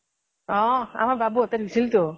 অ' আমাৰ বাবুয়ে পিন্ধিছিল তো